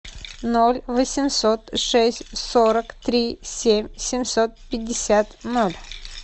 ноль восемьсот шесть сорок три семь семьсот пятьдесят ноль